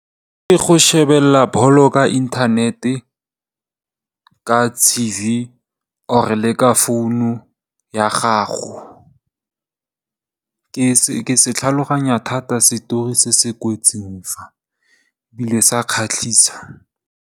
Ke go shebelela bolo ka inthanete, ka TV or le ka founu ya gago ke se tlhaloganya thata setori se se kwetseng fa, ebile sa kgatlhisa.